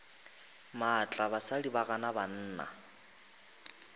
maatla basadi ba gana banna